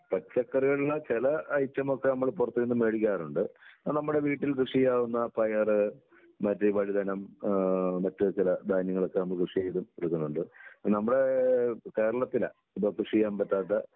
പച്ചക്കറികളില് ചെല ഐറ്റമൊക്കെ നമ്മൾ പൊറത്ത് നിന്ന് മേടിക്കാറുണ്ട്. അത് നമ്മുടെ വീട്ടിൽ കൃഷി ചെയ്യാവുന്ന പയറ് മറ്റ് വഴുതനം, ആഹ് മറ്റു ചില ധാന്യങ്ങളൊക്കെ നമ്മള് കൃഷി ചെയ്ത് എടുക്കുന്നുണ്ട്. നമ്മുടെ കേരളത്തിലെ ഇപ്പൊ കൃഷി ചെയ്യാൻ പറ്റാത്ത